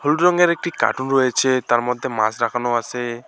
হলুদ রঙের একটি কার্টুন রয়েছে তার মধ্যে মাছ রাখানো আছে।